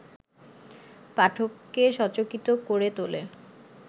পাঠককে সচকিত করে তোলে